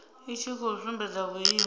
i tshi khou sumbedza vhuimo